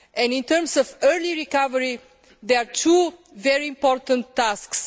now. In terms of early recovery, there are two very important